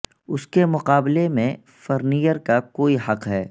اس کے مقابلے میں فرننیئر کا کوئی حق ہے